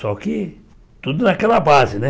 Só que tudo naquela base, né?